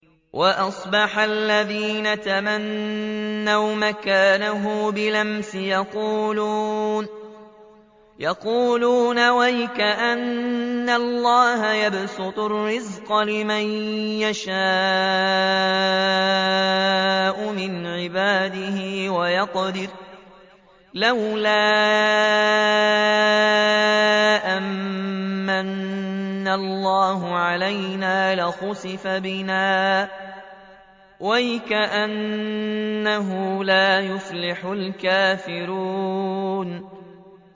وَأَصْبَحَ الَّذِينَ تَمَنَّوْا مَكَانَهُ بِالْأَمْسِ يَقُولُونَ وَيْكَأَنَّ اللَّهَ يَبْسُطُ الرِّزْقَ لِمَن يَشَاءُ مِنْ عِبَادِهِ وَيَقْدِرُ ۖ لَوْلَا أَن مَّنَّ اللَّهُ عَلَيْنَا لَخَسَفَ بِنَا ۖ وَيْكَأَنَّهُ لَا يُفْلِحُ الْكَافِرُونَ